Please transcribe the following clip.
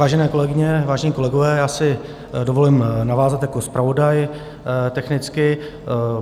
Vážené kolegyně, vážení kolegové, já si dovolím navázat jako zpravodaj technicky.